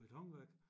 Betonværk